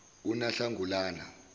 unahlangulana